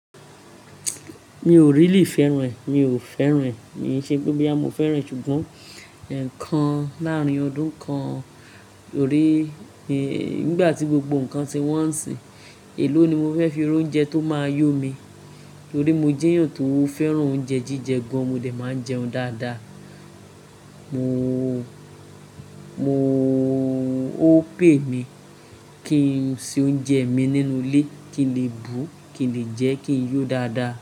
Mi ò really fẹ́ràn ẹ́, mi ò fẹ́ràn ẹ́. N ò ṣe pé bí à mo fẹ́ràn, ṣùgbọ́n ǹkan láàárín ọdún kan ó rè. Nígbà tí gbogbo ǹkan tí wọ́n ń ṣe, èló ni mo fẹ́ fi ra oúnjẹ tó máa yó mi. Torí mo jẹ́ èyàn tó fẹ́ràn oúnjẹ jíjẹ gan. Mo dẹ̀ máa ń jẹun dáadáa. Mo, mo ó pè mí kí n ṣe oúnjẹ mi nínú ilé, kí n lè bu, kí n lè jẹ́ kí n yó dáadáa.